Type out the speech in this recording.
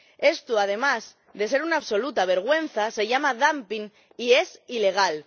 Esto, además de ser una absoluta vergüenza, se llama dumping y es ilegal.